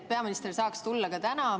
Peaminister saaks tulla siia ka täna.